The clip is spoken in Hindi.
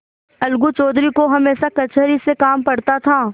अलगू चौधरी को हमेशा कचहरी से काम पड़ता था